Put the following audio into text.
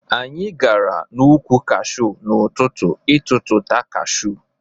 Anyị gara n' ukwụ Kashu n'ụtụtụ ịtututa Kashu.